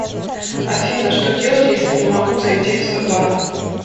афина что делать если не могу зайти в свой банк